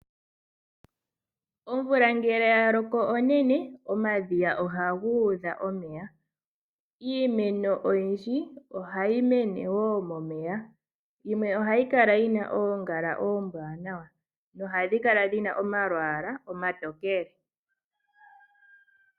Omvula ngele ya loko onene, omadhiya ohaga udha omeya. Iimeno oyindji ohayi mene woo momeya, yimwe ohayi kala yi na oongala oombwanawa nohadhi kala dhina omalwaala omatokele.